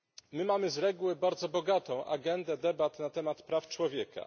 My mamy z reguły bardzo bogatą agendę debat na temat praw człowieka.